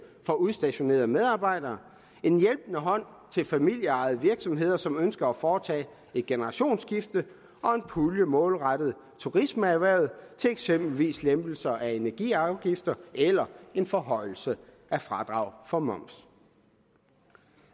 for udstationerede medarbejdere en hjælpende hånd til familieejede virksomheder som ønsker at foretage et generationsskifte og en pulje målrettet turismeerhvervet til eksempelvis lempelse af energiafgifterne eller en forhøjelse af fradraget for moms